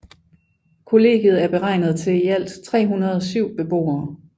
Kollegiet er beregnet til i alt 307 beboere